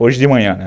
Hoje de manhã,